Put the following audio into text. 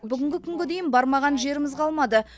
бүгінгі күнге дейін бармаған жеріміз қалмады